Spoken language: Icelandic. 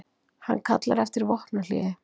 Hann kallar eftir vopnahléi